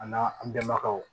A n'a an bɛnbakɛw